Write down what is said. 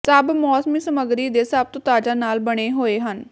ਸਭ ਮੌਸਮੀ ਸਮੱਗਰੀ ਦੇ ਸਭ ਤੋਂ ਤਾਜ਼ਾ ਨਾਲ ਬਣੇ ਹੋਏ ਹਨ